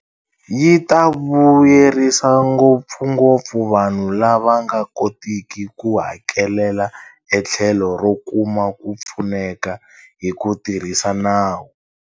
Yi ta vuyerisa ngopfungopfu vanhu lava nga kotiki ku hakelela etlhelo ro kuma ku pfuneka hi ku tirhisa nawu.